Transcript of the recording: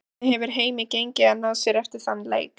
Hvernig hefur heimi gengið að ná sér eftir þann leik?